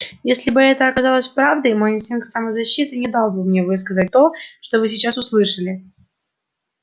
если бы это оказалось правдой мой инстинкт самозащиты не дал бы мне высказать того что вы сейчас услышали